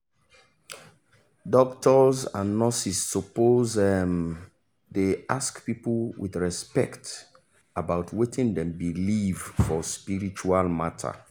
doctors and nurses suppose um dey ask people with respect about wetin dem believe for spiritual matter